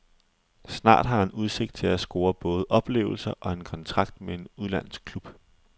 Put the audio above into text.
Snart har han udsigt til at score både oplevelser og en kontrakt med en udenlandsk klub.